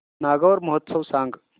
नागौर महोत्सव सांग